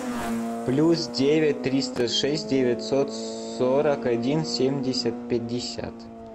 плюс девять триста шесть девятьсот сорок один семьдесят пятьдесят